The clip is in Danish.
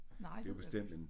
Nej